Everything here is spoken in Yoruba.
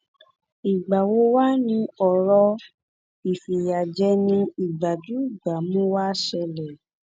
ìgbà wo wàá ni ọrọ ìfìyàjẹni ìgbájú ìgbámú wàá ṣẹlẹ